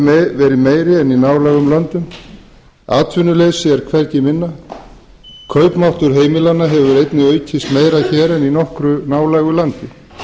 meiri en í nálægum löndum atvinnuleysi er hvergi minna kaupmáttur heimilanna hefur einnig aukist meira hér en í nokkru nálægu landi